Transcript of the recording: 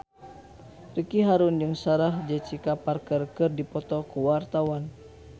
Ricky Harun jeung Sarah Jessica Parker keur dipoto ku wartawan